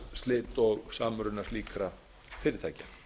fjárhagsslit og samruna slíkra fyrirtækja